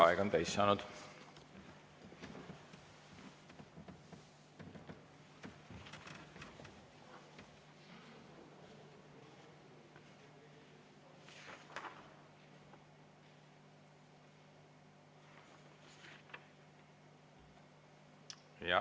Aeg on täis saanud.